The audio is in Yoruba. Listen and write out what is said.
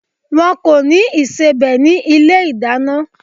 Wọ́n kò ní ìsebẹ̀ ní ilé-ìdáná.